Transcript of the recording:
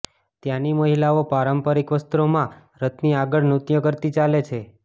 ત્યાંની મહિલાઓ પારંપરિક વસ્ત્રોમાં રથની આગળ નૃત્ય કરતી ચાલે છે